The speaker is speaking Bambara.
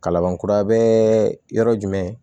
Kalaban kura bɛ yɔrɔ jumɛn